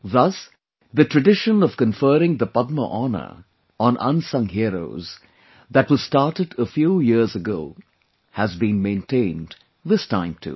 Thus, the tradition of conferring the Padma honour on unsung heroes that was started a few years ago has been maintained this time too